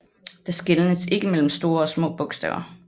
Der skelnes ikke mellem store og små bogstaver